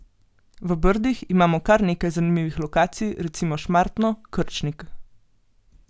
V Brdih imamo kar nekaj zanimivih lokacij, recimo Šmartno, Krčnik.